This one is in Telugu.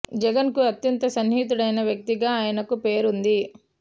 జగన్ కు అత్యంత సన్నిహితుడైన వ్యక్తి గా ఆయనకు పేరు ఉంది